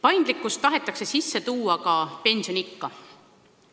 Paindlikkust tahetakse sisse tuua ka pensioniea puhul.